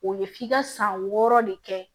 O ye f'i ka san wɔɔrɔ de kɛ